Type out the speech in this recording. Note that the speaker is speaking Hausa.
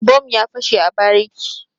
Bom ya fashe a bariki.